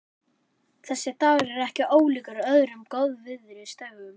Þessi dagur er ekki ólíkur öðrum góðviðrisdögum.